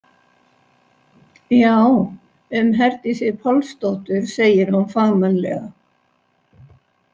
Já, um Herdísi Pálsdóttur, segir hún fagmannlega.